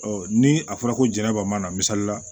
ni a fɔra ko jɛnɛba na misali la